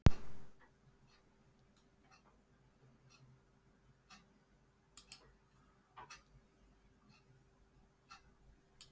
Formaðurinn var kominn á sinn stað.